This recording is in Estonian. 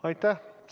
Aitäh!